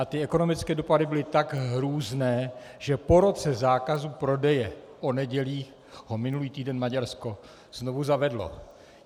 A ty ekonomické dopady byly tak hrůzné, že po roce zákazu prodeje o nedělích ho minulý týden Maďarsko znovu zavedlo.